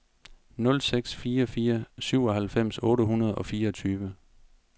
nul seks fire fire syvoghalvfems otte hundrede og fireogtyve